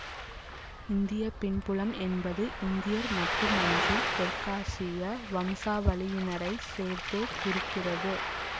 இந்திய பின்புலம் என்பது இந்தியர் மட்டுமன்றி தெற்காசிய வம்சாவழியினரையும் சேர்த்தே குறிக்கிறது